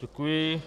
Děkuji.